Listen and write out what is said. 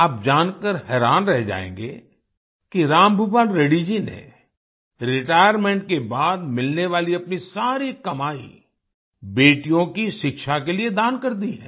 आप जानकर हैरान रह जाएंगे कि रामभूपाल रेड्डी जी ने रिटायरमेंट के बाद मिलने वाली अपनी सारी कमाई बेटियों की शिक्षा के लिए दान कर दी है